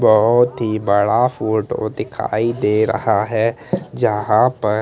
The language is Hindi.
बहोत ही बड़ा फोटो दिखाई दे रहा है जहां पर--